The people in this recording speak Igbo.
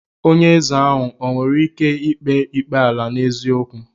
Onye ézè o nwere ike kpee ikpe ala n'eziokwu?